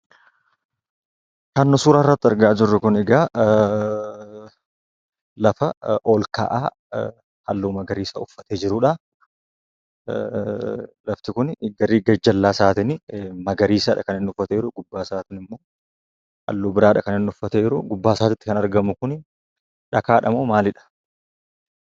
Kan nuyi suuraa irratti argaa jirru kun egaa lafaa ol ka'aa halluu magariisa uffate jirudha. lafti kun gari gajjalla isaatiin magariisadha kaniinni uffate jiru. Gubbaa isaatin immoo halluu biradha kaniinni uffate jiru. Gubbaasatti kan argamu kun dhakaadhamo maaliidha?